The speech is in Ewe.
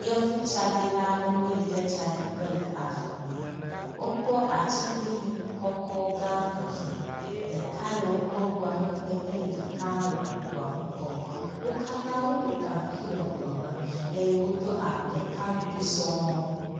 Yevu tsaɖila aɖewo yi ɖe tsaɖiƒe le ave me, wokpɔ atiglinyi kɔkɔ gã eve, ɖeka le woƒe megbe eye ɖeka hã ŋua ŋgɔ. Wo katã woɖɔ gaŋkui le ŋua me eye wodo awu ɖeka ŋugbi sɔŋ.